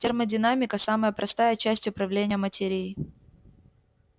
термодинамика самая простая часть управления материей